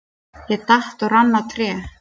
Ég datt og rann á tré.